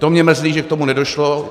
To mě mrzí, že k tomu nedošlo.